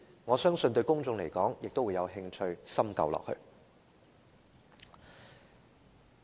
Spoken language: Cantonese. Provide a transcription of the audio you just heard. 我相信公眾也會有興趣探究這些問題。